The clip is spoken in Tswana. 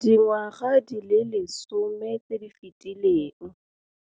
Dingwaga di le 10 tse di fetileng,